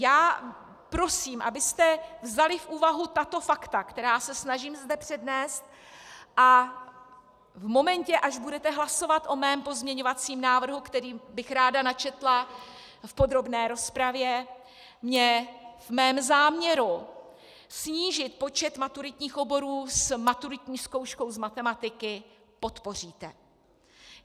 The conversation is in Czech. Já prosím, abyste vzali v úvahu tato fakta, která se snažím zde přednést, a v momentě, až budete hlasovat o mém pozměňovacím návrhu, který bych ráda načetla v podrobné rozpravě, mě v mém záměru snížit počet maturitních oborů s maturitní zkouškou z matematiky podpořili.